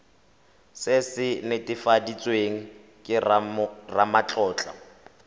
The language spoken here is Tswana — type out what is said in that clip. se se netefaditsweng ke ramatlotlo